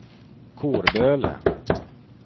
Kårböle